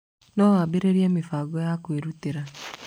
No waambĩrĩrie mĩbango ya kwĩrutĩra.